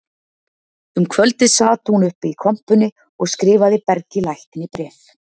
Um kvöldið sat hún uppi í kompunni og skrifaði Bergi lækni bréf